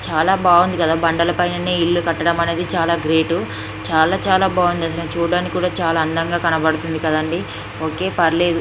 చాలా బాగుంది కదా బండలపైనే ఇల్లు కట్టడం అనేది చాలా గ్రేట్ . చాలా చాలా బాగుంది. అసలు చూడడానికి కూడా చాలా అందంగా కనబడుతుంది కదా అండి. ఓకే పర్లేదు.